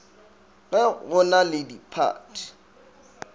ge go na le diphathi